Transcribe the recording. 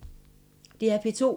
DR P2